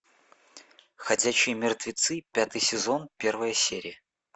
ходячие мертвецы пятый сезон первая серия